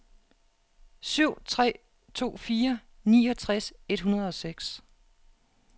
syv tre to fire niogtres et hundrede og seks